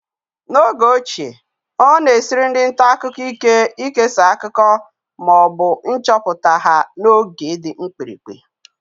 N'oge ochie, ọ na-esiri ndị nta akụkọ ike ikesa akụkọ ma ọ bụ nchọpụta ha n'oge dị mkpirikpi